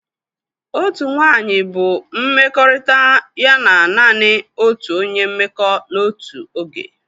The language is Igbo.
Otu nwanyị bụ mmekọrịta ya na naanị otu onye mmekọ n'otu oge.